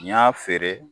N y'a feere